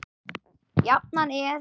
Jafnan er